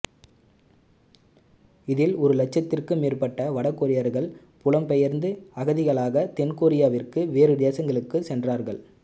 இதில் ஒரு லட்சத்திற்கும் மேற்பட்ட வடகொரியர்கள் புலம்பெயர்ந்து அகதிகளாகத் தென்கொரியாவிற்கும் வேறு தேசங்களுக்கும் சென்றார்கள்